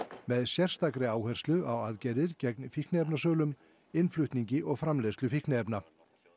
með sérstakri áherslu á aðgerðir gegn fíkniefnasölum innflutningi og framleiðslu fíkniefna